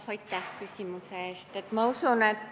Aitäh küsimuse eest!